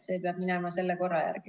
See peab minema vastava korra järgi.